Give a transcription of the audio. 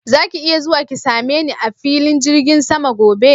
Zaki iya zuwa ki same ni a filin jirgin sama gobe?